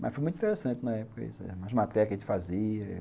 Mas foi muito interessante na época, as matérias que a gente fazia.